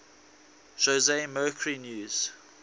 jose mercury news